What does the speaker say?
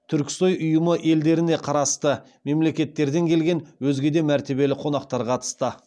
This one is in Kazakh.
түрксой ұйымы елдеріне қарасты мемлекеттерден келген өзге де мәртебелі қонақтар қатысты